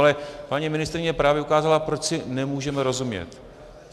Ale paní ministryně právě ukázala, proč si nemůžeme rozumět.